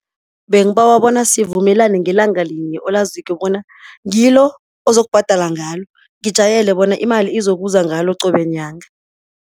Bengibawa bona sivumelane ngelanga linye olaziko bona, ngilo ozokubhadala ngalo, ngijayele bona imali izokuza ngalo qobe nyanga.